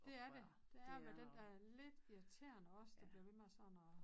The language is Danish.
Dét er det det er at være den dér lidt irriterende også der bliver ved med sådan at